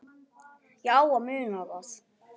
Ég á að muna það.